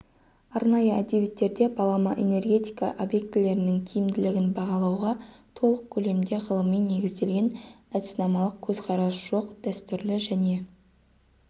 арнайы әдебиеттерде балама энергетика объектілерінің тиімділігін бағалауға толық көлемде ғылыми негізделген әдіснамалық көзқарас жоқ дәстүрлі және